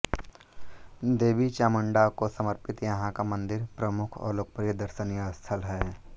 देवी चामुंडा को समर्पित यहां का मंदिर प्रमुख और लोकप्रिय दर्शनीय स्थल है